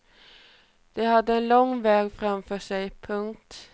De hade en lång väg framför sig. punkt